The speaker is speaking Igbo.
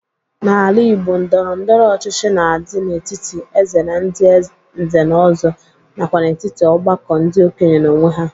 N'ala Igbo ndọrọndọrọ ọchịchị na-adị n'etiti Eze na ndị nze na ọzọ, nakwa n'etiti ọgbakọ ndị okenye n'onwe ha.